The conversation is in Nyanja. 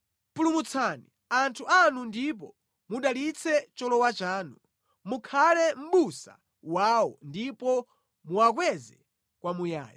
Pulumutsani anthu anu ndipo mudalitse cholowa chanu; mukhale mʼbusa wawo ndipo muwakweze kwamuyaya.